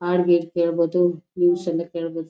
ಹಾಡಗಿಡ್ ಕೇಳ್ಬಹುದು ನ್ಯೂಸ್ ಎಲ್ಲ ಕೇಳ್ಬಹುದು.